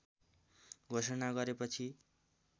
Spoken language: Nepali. घोषणा गरेपछि